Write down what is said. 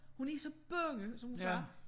Hun er så bange som hun sagde